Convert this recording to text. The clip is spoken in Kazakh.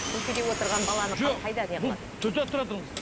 көшеде отырған баланы